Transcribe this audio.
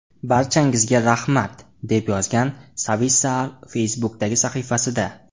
Barchangizga rahmat!” deb yozgan Savisaar Facebook’dagi sahifasida.